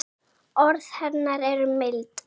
Orð hennar eru mild.